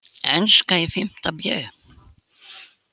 Enska í fimmta bé.